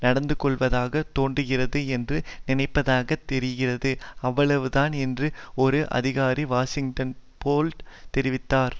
நடந்துகொள்வதாக தோன்றுகிறது என்று நினைப்பதாகத் தெரிகிறது அவ்வளவுதான் என்று ஒரு அதிகாரி வாஷிங்டன் போஸ்ட் தெரிவித்தார்